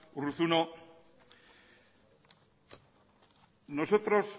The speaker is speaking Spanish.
urruzuno nosotros